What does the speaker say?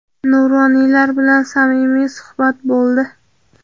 nuroniylar bilan samimiy suhbat bo‘ldi.